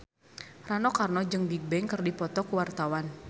Rano Karno jeung Bigbang keur dipoto ku wartawan